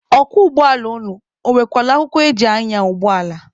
Ọkwọ ụgbọala unu, ọ nwekwala akwụkwọ eji anya ụgbọala?